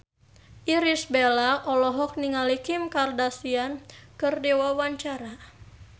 Irish Bella olohok ningali Kim Kardashian keur diwawancara